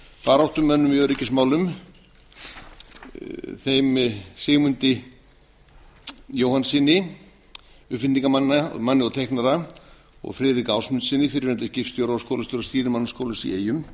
baráttumönnum í öryggismálum þeim sigmundi jóhannssyni uppfinningamanni og teiknara og friðrik ásmundssyni fyrrverandi skipstjóra og skólastjóra stýrimannaskólans í eyjum